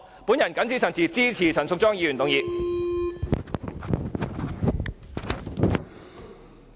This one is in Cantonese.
我謹此陳辭，支持陳淑莊議員的議案。